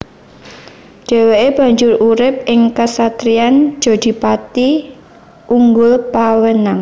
Dhèwèké banjur urip ing kesatriyan Jodhipati/Unggulpawenang